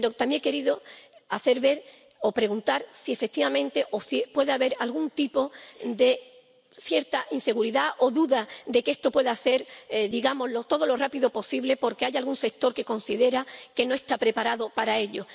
Pero también he querido hacer ver o preguntar si, efectivamente, puede haber algún tipo de inseguridad o duda de que esto no pueda ir, digamos, todo lo rápido posible porque hay algún sector que considera que no está preparado para ello.